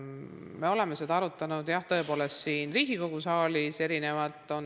Me oleme seda tõepoolest jah siin Riigikogu saalis arutanud.